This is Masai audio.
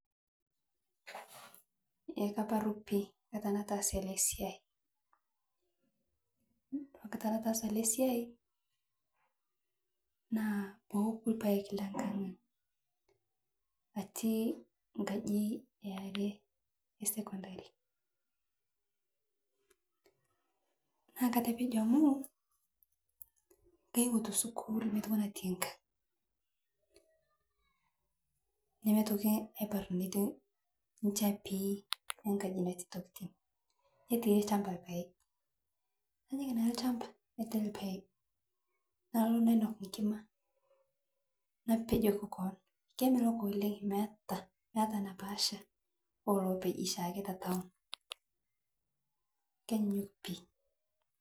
Ee kaparu pii, nkata nataasa ale siai, kore nkata nataasa ale siai naa payie eku lpaeg le nang'ang atii nkaji ee aree ee (cs sekondari cs),naa katepejo amu, kaeuo te skull metoki natii ngang',nemetoki aibar netii nshapii ee ngaji natii ntokitin netii lshamba lpaeg, najing naa lshamba naitai lpaeg nalo nainok ikima napejoki koon kemelok oleng meata, meata nepaacha oo lopeji chaake te (cs town cs)kenyunyuk pii.